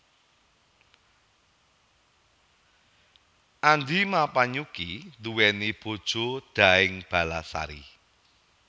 Andi Mappanyukki nduweni bojo Daeng Ballasari